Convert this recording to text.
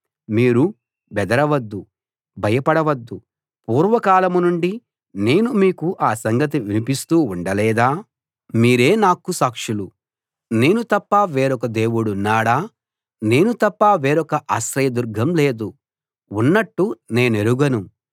మీరు బెదరవద్దు భయపడవద్దు పూర్వకాలం నుండి నేను మీకు ఆ సంగతి వినిపిస్తూ ఉండలేదా మీరే నాకు సాక్షులు నేను తప్ప వేరొక దేవుడున్నాడా నేను తప్ప వేరొక ఆశ్రయదుర్గం లేదు ఉన్నట్టు నేనెరుగను